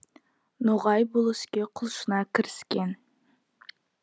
ноғай бұл іске құлшына кіріскен